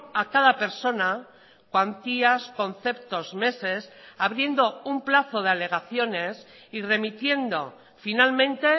a cada persona cuantías conceptos meses abriendo un plazo de alegaciones y remitiendo finalmente